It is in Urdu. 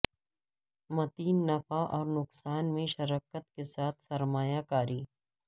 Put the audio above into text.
متعین نفع اور نقصان میں شرکت کے ساتھ سرمایہ کاری